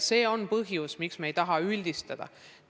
See on põhjus, miks me ei taha üldistada.